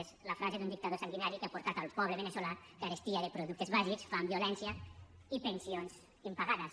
és la frase d’un dictador sanguinari que ha portat al poble veneçolà carestia de productes bàsics fam violència i pensions impagades